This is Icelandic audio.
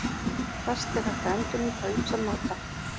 Plast er hægt að endurnýta á ýmsan máta.